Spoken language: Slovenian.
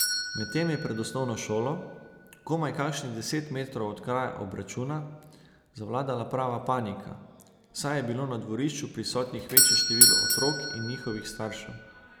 Medtem je pred osnovno šolo, komaj kakšnih deset metrov od kraja obračuna, zavladala prava panika, saj je bilo na dvorišču prisotnih večje število otrok in njihovih staršev.